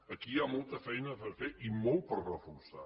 aquí hi ha molta feina per fer i molt per reforçar